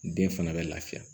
Den fana bɛ lafiya